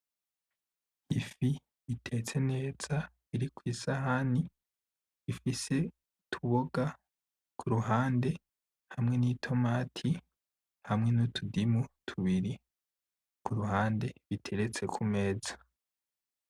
Ifi itetse neza, iri kw'isahani, ifise utuboga kuruhande hamwe n'itomati, hamwe n'utudimu tubiri kuruhande biteretse kumeza.